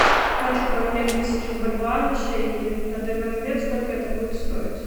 хочу поменять тысячу бальбоа на шекели на данный момент сколько это будет стоить